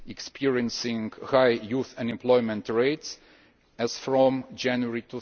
experiencing high youth unemployment rates from January